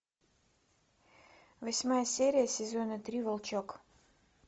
восьмая серия сезона три волчок